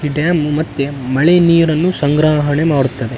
ಈ ಡ್ಯಾಮ್ ಮತ್ತೆ ಮಳೆ ನೀರನ್ನು ಸಂಗ್ರಾಹಳಿ ಮಾಡುತ್ತದೆ .